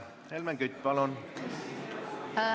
Helmen Kütt, palun!